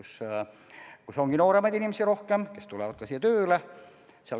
Seal ongi nooremaid inimesi rohkem ja nad tulevad ka tööle.